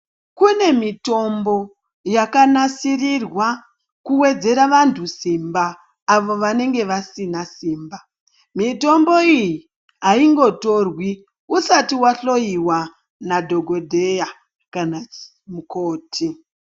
Kune mitombo yakanasirwa kuwedzera vantu Simba avo vanenge vasina Simba. Mitombo iyi aingotirwi usati wahloyiwa nadhokodheya kana mukoti.